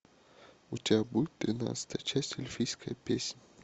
у тебя будет тринадцатая часть эльфийская песня